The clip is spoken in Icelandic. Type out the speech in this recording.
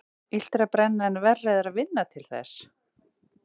Illt er að brenna en verra er að vinna til þess.